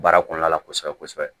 Baara kɔnɔna la kosɛbɛ kosɛbɛ